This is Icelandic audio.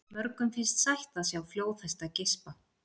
Mörgum finnst sætt að sjá flóðhesta geispa.